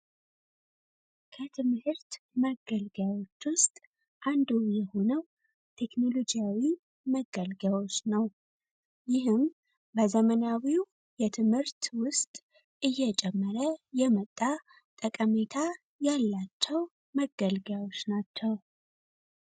ከትምህርት መገልገያዎች ውስጥ አንዱ የሆነው ቴክኖሎጂ መገልገያ ነው ይህም በዘመናዊ ትምህርት ውስጥ እየጨመረ የመጣ ጠቀሜታ ያላቸው መገልገያዎች ናቸው።